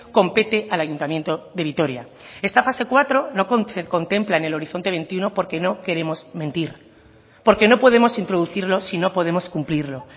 compete al ayuntamiento de vitoria esta fase cuarto no se contempla en el horizonte veintiuno porque no queremos mentir porque no podemos introducirlo si no podemos cumplirlo